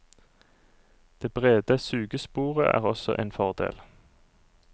Det brede sugesporet er også en fordel.